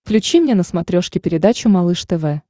включи мне на смотрешке передачу малыш тв